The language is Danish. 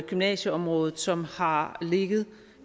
gymnasieområdet som har ligget